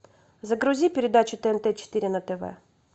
загрузи передачу тнт четыре на тв